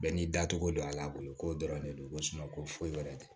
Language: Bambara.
Bɛɛ n'i dacogo don a la a bolo ko dɔrɔn de don ko ko foyi wɛrɛ tɛ